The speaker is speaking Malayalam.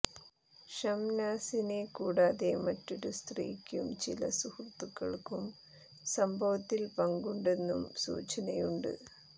ഷംനാസിനെ കൂടാതെ മറ്റൊരു സ്ത്രീക്കും ചില സുഹൃത്തുക്കൾക്കും സംഭവത്തിൽ പങ്കുണ്ടെന്നും സൂചനയുണ്ട്